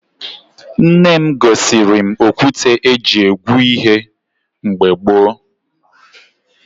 Nne m gosiri m okwute e ji egwe ihe mgbe gboo